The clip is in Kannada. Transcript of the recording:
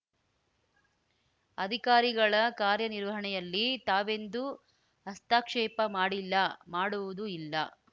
ಅಧಿಕಾರಿಗಳ ಕಾರ್ಯನಿರ್ವಹಣೆಯಲ್ಲಿ ತಾವೆಂದೂ ಹಸ್ತಕ್ಷೇಪ ಮಾಡಿಲ್ಲ ಮಾಡುವುದೂ ಇಲ್ಲ